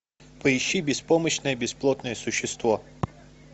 поищи беспомощное бесплотное существо